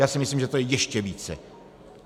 Já si myslím, že to je ještě více.